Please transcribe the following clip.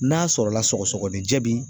N'a sɔrɔ la sɔgɔsɔgɔninjɛ bi